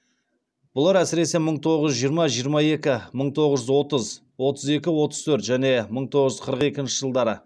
бұлар әсіресе мыың тоғыз жүз жиырма жиырма екі мың тоғыз жүз отыз отыз екі отыз төрт және мың тоғыз жүз қырық екінші жылдары